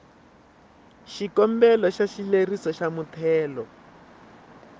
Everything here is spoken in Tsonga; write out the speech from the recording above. xikombelo xa xileriso xa muthelo